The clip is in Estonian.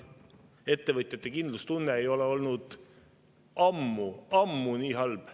Ettevõtjate kindlustunne ei ole olnud ammu, ammu nii halb.